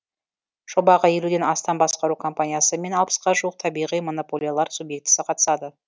жобаға елуден астам басқару компаниясы мен алпысқа жуық табиғи монополиялар субъектісі қатысады